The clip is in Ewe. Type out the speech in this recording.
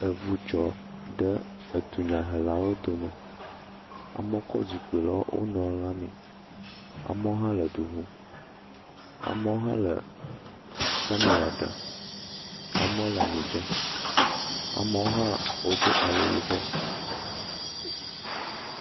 Evu dzɔ ɖe edunyahelawo dome, amɔ kɔ zikpui le wo nɔewo lãmee, amɔ hã le du ŋum, amɔ hã le kamera dam, amɔ le anyi dzem, amɔ hã wodo awu yibɔ.